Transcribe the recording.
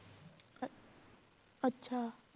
ਅੱਛਾ।